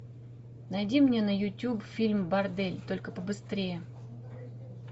найди мне на ютуб фильм бордель только по быстрее